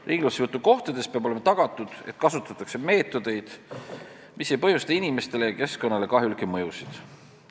Ringlussevõtu kohtades peab olema tagatud, et kasutatakse meetodeid, mis ei põhjusta inimestele ja keskkonnale kahjulikke mõjusid.